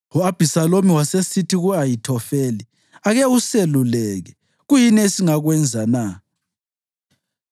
U-Abhisalomu wasesithi ku-Ahithofeli, “Ake useluleke. Kuyini esingakwenza na?”